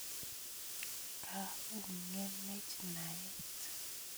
Koung'enech naet